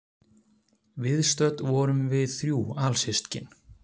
Viðstödd vorum við þrjú alsystkin